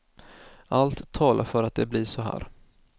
Allt talar för att det blir så här.